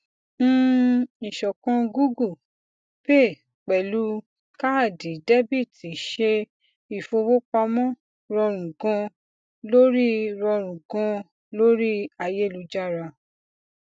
um ìṣọkan google pay pẹlú kaadi debiti ṣe ìfowópamọ rọrùn ganan lórí rọrùn ganan lórí ayélujára